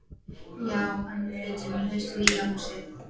Já, en við flytjum í haust í nýja húsið.